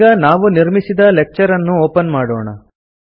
ಈಗ ನಾವು ನಿರ್ಮಿಸಿದ ಲೆಕ್ಚರ್ ಅನ್ನು ಒಪನ್ ಮಾಡೋಣ